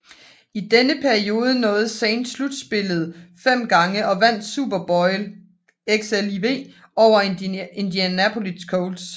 I denne periode nåede Saints slutspillet fem gange og vandt Super Bowl XLIV over Indianapolis Colts